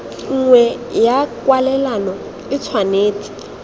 nngwe ya kwalelano e tshwanetse